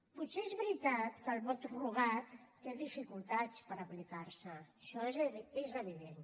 potser és veritat que el vot rogat té dificultats per aplicar se això és evident